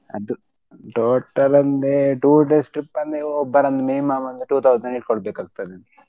ಅದು total ಅಂದ್ರೆ two days trip ಅಂದ್ರೆ ಒಬ್ಬರ್ ಮೇಲ್ minimum ಒಂದ್ two thousand ಇಟ್ಕೊಳ್ಬೇಕಾಗ್ತದೆ.